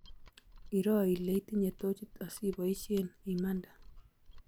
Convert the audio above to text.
Iroo ile itinye tochit asiboisie imande